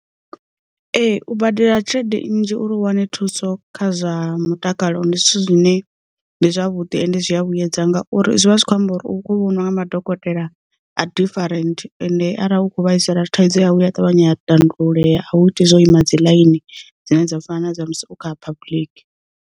Ee u badela tshelede nnzhi uri u wane thuso kha zwa mutakalo ndi zwithu zwine ndi zwavhuḓi ende zwi a vhuyedza ngauri zwi vha zwi kho amba uri u kho vhoniwa nga madokotela a ḓifarenthe ende arali u kho vhaisala, thaidzo yawu a ṱavhanya a tandululea a u iti zwo ima dzi ḽaini dzine dza u fana na dza musi u kha public.